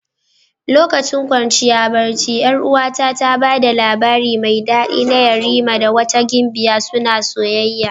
Lokacin kwanciya barci 'Yar'uwata ta ba da labari mai dadi na yerima da wata gimbiya suna soyayya.